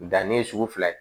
Danni ye sugu fila ye